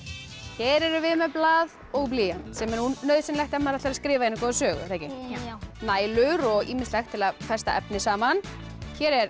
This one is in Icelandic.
hér erum við með blað og blýant sem er nauðsynlegt ef maður ætlar að skrifa eina góða sögu er það ekki já nælur og ýmislegt til að festa efni saman hér